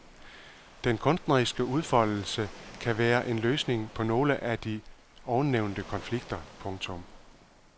Den kunstneriske udfoldelse kan være en løsning på nogle af de ovennævnte konflikter. punktum